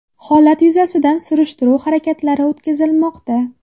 Holat yuzasidan surishtiruv harakatlari o‘tkazilmoqda.